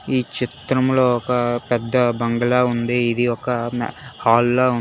ఈ చిత్రంలో ఒక పెద్ద బంగ్లా ఉంది ఇది ఒక హాల్ లా ఉం--